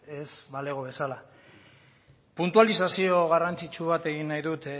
ez balego bezala puntualizazio garrantzitsu bat egin nahi dut